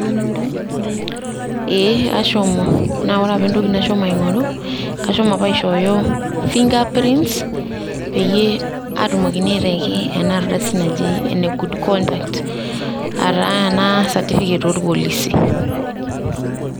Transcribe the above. Ee ashomo ,naa ore apa entoki nashomo aingo'ru, kashomo apa aishooyo fingerprints peyie atumokini aitaiki ena ardasi naji ene good conduct aa taa ena certificate oorpolisi.